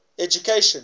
education